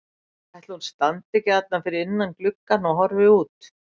Ætli hún standi ekki þarna fyrir innan gluggann og horfi út?